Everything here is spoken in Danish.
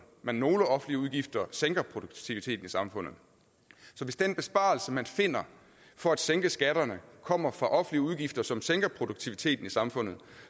men nogle offentlige udgifter sænker produktiviteten i samfundet så hvis den besparelse man finder for at sænke skatterne kommer fra offentlige udgifter som sænker produktiviteten i samfundet